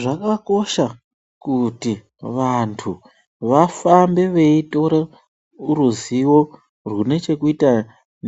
Zvakakosha kuti vantu vafambe beyitore ruzivo runechekuita